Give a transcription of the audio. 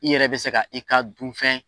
I yɛrɛ be se ka i ka dunfɛn